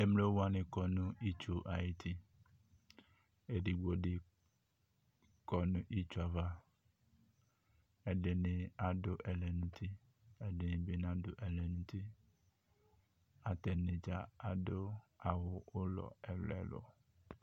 Emlo wane kɔ no itsu ayiti Edigbo de kɔ no itsu ava Ɛdene ado ɛlɛnuti, ɛdene be nado ɛlɛnuti Atane dza ado awu ulɔ ɛluɛlu